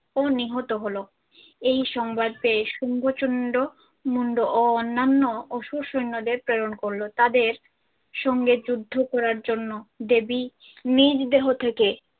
ও নিহত হলো। এই সংবাদ পেয়ে শুম্ভ চুন্ড মুন্ড ও অন্যান্য অসুর সৈন্যদের প্রেরণ করল। তাদের সঙ্গে যুদ্ধ করার জন্য দেবী নিজ দেহ থেকে